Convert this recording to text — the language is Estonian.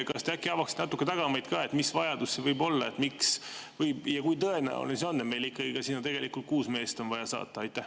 Kas te äkki avaksite natuke tagamaid ka, et mis vajadus see võib olla, miks, ja kui tõenäoline see on, et meil on sinna ikkagi kuus meest vaja saata?